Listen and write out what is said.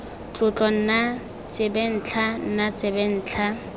tlotlo nna tsebentlha nna tsebentlha